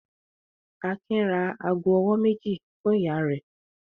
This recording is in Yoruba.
Akin ra ago-ọwọ́ méjì fún ìyá rẹ̀?